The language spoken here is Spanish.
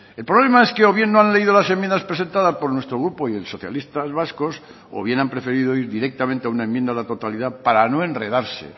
el problema es que o bien no han leído las enmiendas presentadas por nuestro grupo y el socialistas vascos o bien han preferido ir directamente a una enmienda a la totalidad para no enredarse